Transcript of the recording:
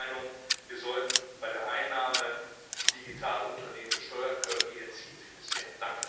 Ich bin der Meinung, wir sollten bei der Einnahme die Digitalunternehmen besteuern können, die entziehen sich bisher.